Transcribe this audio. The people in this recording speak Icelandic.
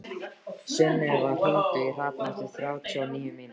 Sunneva, hringdu í Hrafn eftir þrjátíu og níu mínútur.